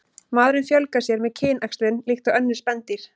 Maðurinn fjölgar sér með kynæxlun líkt og önnur spendýr.